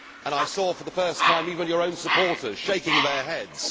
I saw for the first time even your own supporters shaking their heads.